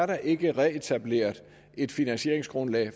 der ikke er etableret et finansieringsgrundlag